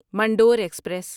Mandore express